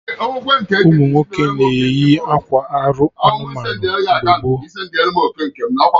Ụmụnwoke na-eyi akwa arụ anụmanụ mgbe gboo